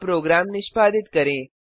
अब प्रोग्राम निष्पादित करें